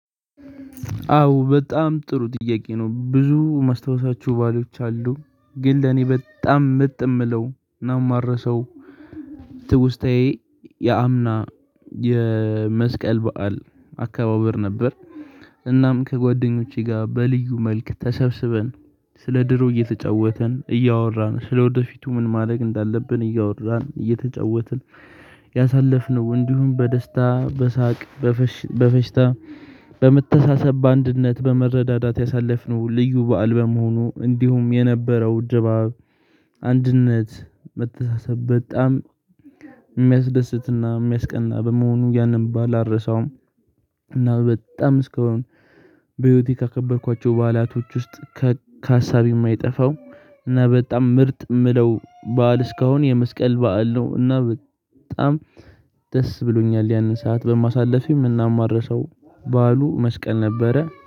አዎ በጣም ጥሩ ጥያቄ ነው? ብዙ ማስታወሳቸው ባሎች አሉ ግን ለኔ በጣም ምርጥ የምለው እና ማረሰው ትውስታዬ ያምና የመስቀል በዓል አከባበር ነበር። እናም ከጓደኞቼ ጋር በልዩ መልክ ተሰብስበን ስለ ድሮ እየተጫወተን እያወራን ስለ ወደፊቱ ምን ማድረግ እንዳለብን እያወራን እየተጫወትን ያሳለፍነው እንዲሁም በደስታ በሳቅ በፈሽ በፈሽታ በመተሳሰብ በአንድነት በመረዳዳት ያሳለፍነው ልዩ በዓል በመሆኑ እንዲሁም የነበረው ድባብ አንድነት መተሳሰብ በጣም የሚያስደስትና የሚያስቀና በመሆኑ ያንን ባል አልረሳውም። እና በጣም እስከአሁን በህይወቴ ካከበርኳቸው በዓላቶች ውስጥ ከሀሳቤ የማይጠፋው እና በጣም ምርጥ የምለው በዓል እስካሁን የመስቀል በዓል ነው። እና በጣም ደስ ብሎኛል ያንን ሰዓት በማሳለፌም እና እማረሰው ባሉ መስቀል ነበረ